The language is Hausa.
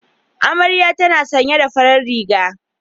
Amaryan tana sanye da farar riga